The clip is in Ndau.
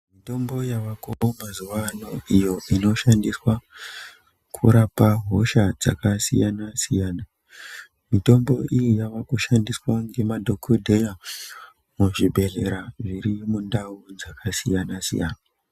Mitombo yavako mazuwa ano, iyo inoshandiswa kurapa hosha dzakasiyana-siyana . Mitombo iyi yaakushandiswa nemadhokodhera muzvibhedhlera zviro mundau dzakasiyana-siyana.